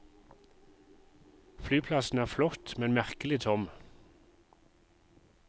Flyplassen er flott, men merkelig tom.